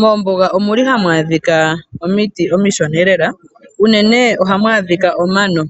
Mombuga ohamu adhika omiti omishona. Unene ohamu adhika omano